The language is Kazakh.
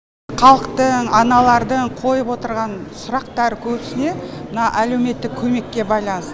халықтың аналардың қойып отырған сұрақтары көбісіне мына әлеуметтік көмекке байланыс